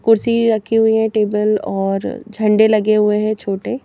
कुर्सी रखी हुई हैं टेबल और झंडे लगे हुए हैं छोटे।